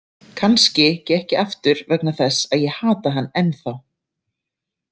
Kannski gekk ég aftur vegna þess að ég hata hann ennþá.